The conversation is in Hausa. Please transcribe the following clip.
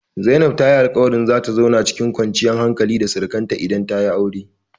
Zainab ta yi alƙawarin zata zauna cikin kwanciyar hankali da surakanta idan tayi aure.